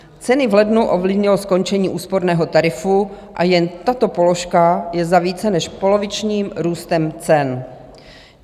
Ceny v lednu ovlivnilo skončení úsporného tarifu a jen tato položka je za více než polovičním růstem cen.